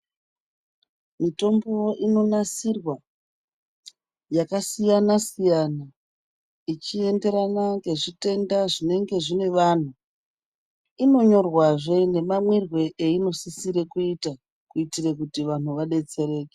Mitombo inonasirwa yakasiyanasiyana ichienderana ngezvitenda zvinenge zvine vanhu inonyorwazve nemamwirwe einosise kuitwa kuti vantu vadetsereke.